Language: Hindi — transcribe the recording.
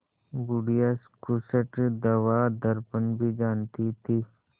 बुढ़िया खूसट दवादरपन भी जानती थी